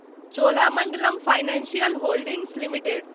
Cholamandalam financial holdings limited